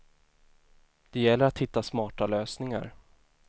Det gäller att hitta smarta lösningar.